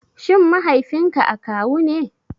Shin Mahaifinka akawu ne?